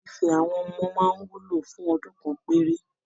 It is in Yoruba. Ife àwọn ọmọ máa ń wúlò fún ọdún kan péré